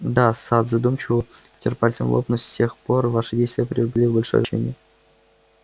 да сатт задумчиво потёр пальцем лоб но с тех пор ваши действия приобрели большое значение